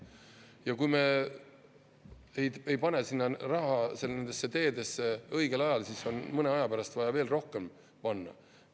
Ja kui me ei pane sinna raha nendesse teedesse õigel ajal, siis mõne aja pärast on vaja veel rohkem panna.